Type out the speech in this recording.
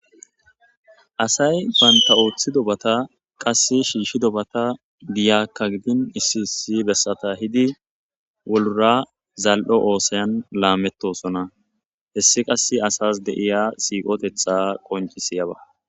Asay panta7ooththi dobata qass shiishshi dobata diyakkagidin issi issi bessata hidi wulura zal7o oosayan laamettosona hessi qass asas deiya siiqotetha qonci siyaba.